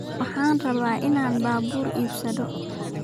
Waxaan rabaa in aan baabuur iibsado